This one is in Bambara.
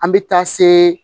An bɛ taa se